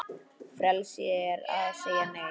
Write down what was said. Frelsi er að segja Nei!